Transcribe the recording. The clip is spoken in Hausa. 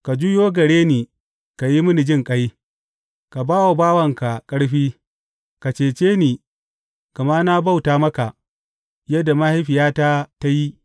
Ka juyo gare ni ka yi mini jinƙai; ka ba wa bawanka ƙarfi; ka ceci ni gama na bauta maka yadda mahaifiyata ta yi.